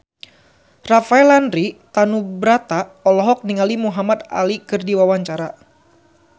Rafael Landry Tanubrata olohok ningali Muhamad Ali keur diwawancara